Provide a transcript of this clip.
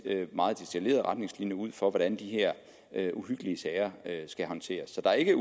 retningslinjer ud for hvordan de her her uhyggelige sager skal håndteres så der er ikke